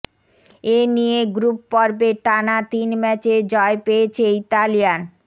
এ নিয়ে গ্রুপ পর্বে টানা তিন ম্যাচে জয় পেয়েছে ইতালিয়ান